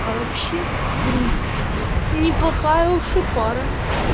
а вообще в принципе неплохая уж и пара